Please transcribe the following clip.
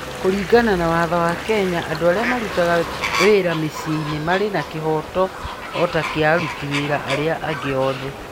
Kũringana na watho wa Kenya, andũ arĩa marutaga wĩra mĩciĩ-inĩ marĩ na kĩhooto o ta kĩa aruti wĩra arĩa angĩ othe.